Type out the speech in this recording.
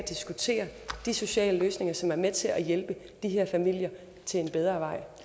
de sociale løsninger som er med til at hjælpe de her familier til en bedre vej